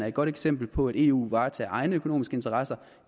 et godt eksempel på at eu varetager egne økonomiske interesser